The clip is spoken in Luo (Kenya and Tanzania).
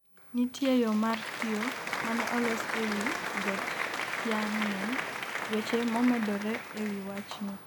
nitie yo mar kioo mane olos e wi got Tianmen. weche momedore e wi wachni